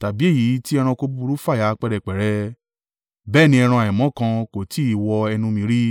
tàbí èyí tí ẹranko búburú fàya pẹ́rẹpẹ̀rẹ. Bẹ́ẹ̀ ni ẹran àìmọ́ kan kò tí ì wọ ẹnu mi rí.”